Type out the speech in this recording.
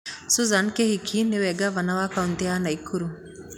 Susan Kĩhĩka nĩwe ngavana wa kautĩ ya Naikuru